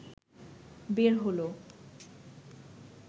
বের হলো